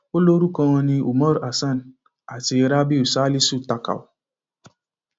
ó lórúkọ wọn ní umar hasan àti rabiu salisu takau